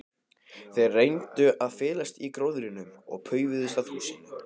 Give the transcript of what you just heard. Þeir reyndu að felast í gróðrinum og paufuðust að húsinu.